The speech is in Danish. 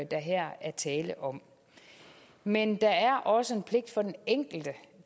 der her er tale om men der er også en pligt for den enkelte